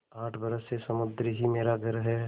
आठ बरस से समुद्र ही मेरा घर है